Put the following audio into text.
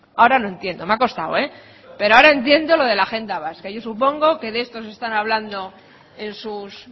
ahora lo entiendo me ha costado pero ahora entiendo lo de la agenda vasca y yo supongo que de esto están hablando en sus